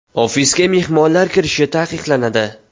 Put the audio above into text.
Ofisga mehmonlar kirishi taqiqlanadi.